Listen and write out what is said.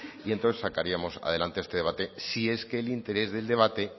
y entonces sacaríamos adelante este debate sí es que el interés del debate